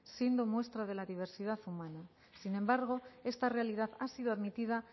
siendo muestra de la diversidad humana sin embargo esta realidad ha sido admitida